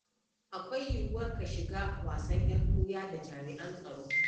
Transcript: Akwai yiwuwar ka shiga wasan ƴar ɓuya da jami'an tsaro.